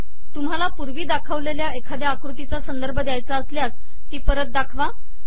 तुम्हाला पूर्वी दाखवलेल्या एखाद्या आकृतीचा संदर्भ द्यायचा असल्यास ती परत दाखवा